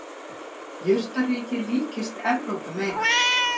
jurtaríkið líkist evrópu meira